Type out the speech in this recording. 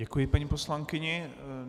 Děkuji paní poslankyni.